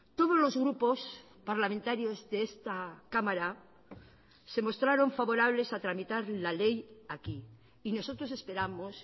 todos los grupos parlamentarios de esta cámara se mostraron favorables a tramitar la ley aquí y nosotros esperamos